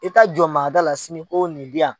I taa jɔ maa da la sini o nin diyan.